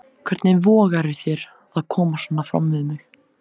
Hvernig vogarðu þér að koma svona fram við mig!